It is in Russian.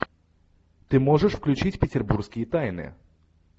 ты можешь включить петербургские тайны